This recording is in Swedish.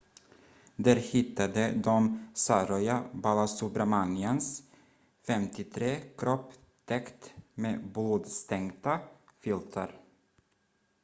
där hittade de saroja balasubramanians 53 kropp täckt med blodstänkta filtar